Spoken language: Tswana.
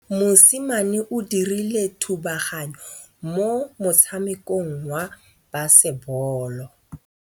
Mosimane o dirile thubaganyô mo motshamekong wa basebôlô.